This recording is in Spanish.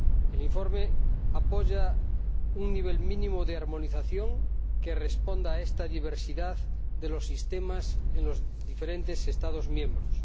El informe apoya un nivel mínimo de armonización que responda a esta diversidad de los sistemas en los diferentes Estados miembros.